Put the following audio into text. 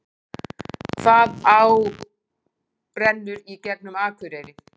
Hvaða á rennur í gegnum Akureyri?